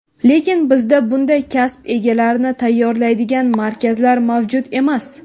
Lekin bizda bunday kasb egalarini tayyorlaydigan markazlar mavjud emas.